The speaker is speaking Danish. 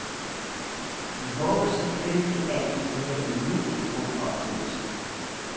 Vi håber selvfølgelig, at I havde endnu en god oplevelse.